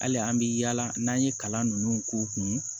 Hali an bɛ yaala n'an ye kalan ninnu k'u kun